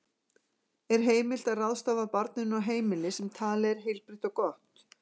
Er heimilt að ráðstafa barninu á heimili sem talið er heilbrigt og gott?